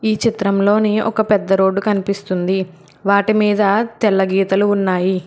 ఈ చిత్రంలోని ఒక పెద్ద రోడ్డు కనిపిస్తుంది వాటి మీద తెల్ల గీతలు ఉన్నాయి.